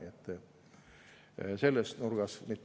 Selle nurga alt.